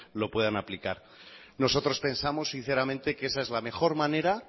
lo puedan aplicar nosotros pensamos sinceramente que esa es la mejor manera